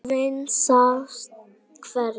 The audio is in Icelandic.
Afinn sást hvergi.